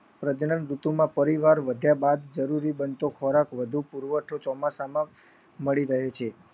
ઋતુમાં પરિવાર વધ્યા બાદ જરૂરી બનતો ખોરાક વધુ પુરવઠો ચોમાસામાં મળી રહે છે.